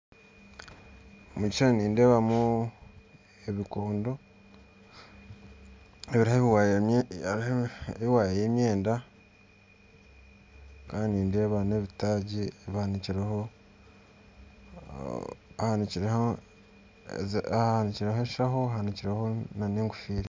Omu kishuushani nindeebamu ebikondo hariho ewaaya y'emyenda kandi nindeeba n'ebitaagi bihanikireho eshaaho n'egofiira